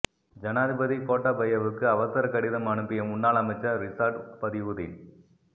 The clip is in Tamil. ஜனாதிபதி கோட்டாபயவுக்கு அவசர கடிதம் அனுப்பிய முன்னாள் அமைச்சர் ரிசாட் பதியுதீன்